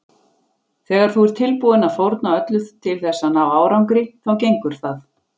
Þegar þú ert tilbúinn að fórna öllu til þess að ná árangri þá gengur það.